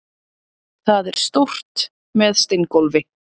Það er stórt, með steingólfi.